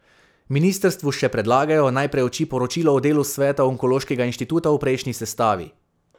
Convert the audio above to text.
Ministrstvu še predlagajo, naj preuči poročilo o delu sveta onkološkega inštituta v prejšnji sestavi.